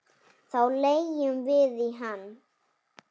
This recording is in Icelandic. Þá leggjum við í hann.